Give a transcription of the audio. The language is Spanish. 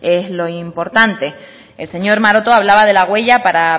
es lo importante el señor maroto hablaba de la huella para